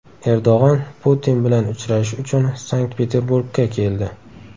Erdo‘g‘on Putin bilan uchrashish uchun Sankt-Peterburgga keldi .